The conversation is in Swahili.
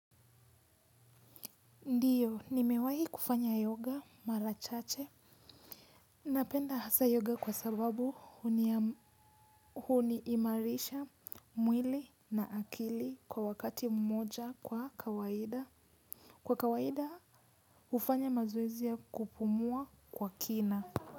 Ndiyo, nimewahi kufanya yoga mara chache. Napenda hasa yoga kwa sababu huni imarisha mwili na akili kwa wakati mmoja kwa kawaida. Kwa kawaida hufanya mazoezi ya kupumua kwa kina.